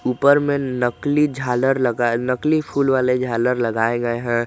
ऊपर में नकली झालर लगा नकली फूल वाले झालर लगाए गए हैं।